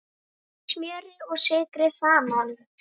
Blandið smjöri og sykri saman.